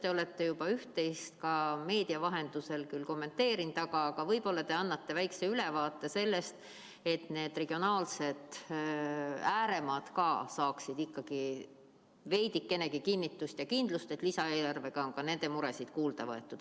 Te olete küll juba üht-teist ka meedia vahendusel kommenteerinud, aga võib-olla te annate väikese ülevaate selleks, et need regionaalsed ääremaad saaksid ikkagi veidikenegi kinnitust ja kindlust, et lisaeelarvega on nende muresid kuulda võetud.